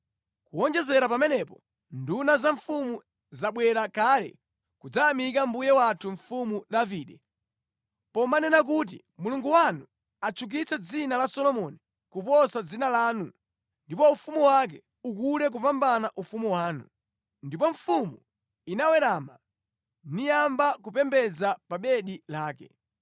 Kuwonjezera pamenepo, nduna za mfumu zabwera kale kudzayamika mbuye wathu Mfumu Davide, pomanena kuti, ‘Mulungu wanu atchukitse dzina la Solomoni kuposa dzina lanu ndipo ufumu wake ukule kupambana ufumu wanu!’ Ndipo mfumu inawerama niyamba kupembedza pa bedi lake,